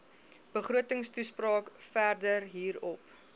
begrotingstoespraak verder hierop